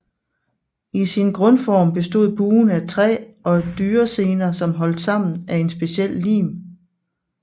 I sin grundform bestod buen af træ og dyresener holdt sammen af en speciel lim